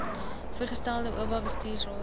voorgestelde oba bestuursraad